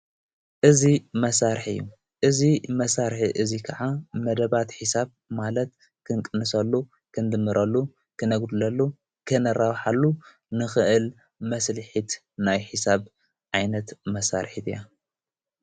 እዙይ መሣርሕ እዩ እዝ መሣርሐ እዙይ ከዓ መደባት ሒሳብ ማለት ክንቅንሰሉ ።ክንድምረ፣ ክነጉድለሉ ፣ክነራውሓሉ ንኽእል መስልሒት ናይ ሕሳብ ኣይነት መሣርሒት እያ።